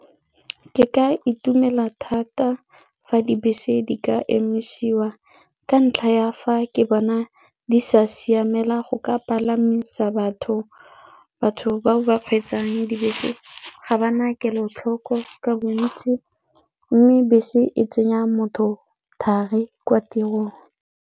kke ka itumela thata fa dibese di ka emisiwa ka ntlha ya fa ke bona di sa siamela go ka palamisa batho, batho bao ba kgweetsang dibese ga ba na kelotlhoko ka bontsi mme bese e tsenya motho thari kwa tirong.